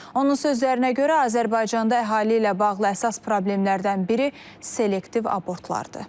Onun sözlərinə görə, Azərbaycanda əhali ilə bağlı əsas problemlərdən biri selektiv abortlardır.